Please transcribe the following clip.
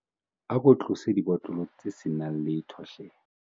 ako tlose dibotlolo tse se nang letho hle